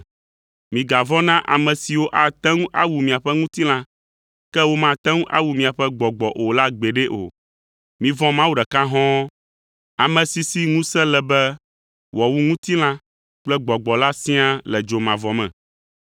“Migavɔ̃ na ame siwo ate ŋu awu miaƒe ŋutilã, ke womate ŋu awu miaƒe gbɔgbɔ o la gbeɖe o! Mivɔ̃ Mawu ɖeka hɔ̃ɔ, ame si si ŋusẽ le be wòawu ŋutilã kple gbɔgbɔ la siaa le dzomavɔ me.